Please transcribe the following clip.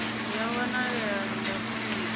dzi a wanalea nga fomathi